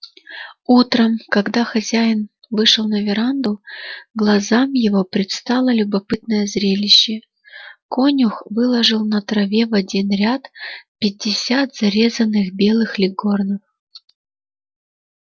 утром когда хозяин вышел на веранду глазам его предстало любопытное зрелище конюх выложил на траве в один ряд пятьдесят зарезанных белых леггорнов